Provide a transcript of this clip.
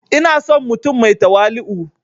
Ina son mutum mai tawali'u